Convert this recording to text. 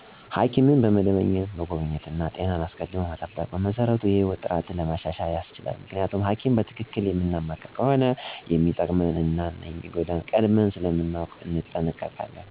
ሐኪምን በመደበኛነት መጎብኘት እና ጤናን አስቀድሞ መጠበቅ በመሰረቱ የህይወት ጥራትን ለማሻሻል ያስችላል። ምክንያቱም ሀኪም በትክክል የምናማክር ከሆነ የሚጠቅመንን እና የሚጎዳንን ቀድመን ስለምናውቅ እንጠነቀቃለን። በተለይ የስኳር በሽታ፣ ደም ግፊት መከላከል የምንችላቸው ህመምች ናቸው። ጤናማ ህይወት ለመኖር ጥሩ ያመጋገብ ልምድ ሊኖረን ይገባል፣ ከጣፋጭ ምግቦች መራቅ፣ ጨው መቀነስ፣ ስፖርት መስራት፣ የአልኮል መጠጦችን መቀነስ ያስፈልጋል። ለሁሉም ታም ከመማቀቅ አስቀድም መጠንቀቅ ያስፈልጋል።